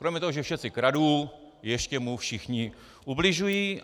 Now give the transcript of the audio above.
Kromě toho, že všetci kradnú, ještě mu všichni ubližují.